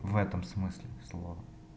в этом смысле слова